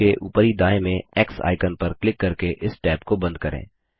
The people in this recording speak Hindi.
टैब के ऊपरी दाएँ में एक्स आइकन पर क्लिक करके इस टैब को बंद करें